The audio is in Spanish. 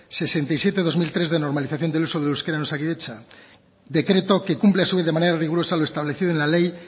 sesenta y siete barra dos mil tres de normalización del uso del euskera en osakidetza decreto que cumple a su vez de manera rigurosa lo establecido en la ley